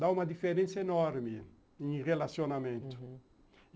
Dá uma diferença enorme em relacionamento, uhum.